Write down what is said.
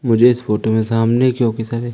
मुझे इस फोटो में सामने क्योंकि सारे--